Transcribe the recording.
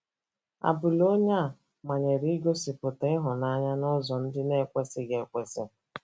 Abụla onye a manyere ịgosịpụta ịhụnanya n’ụzọ ndị na - ekwesịghị ekwesị